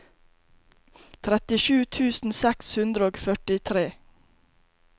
trettisju tusen seks hundre og førtitre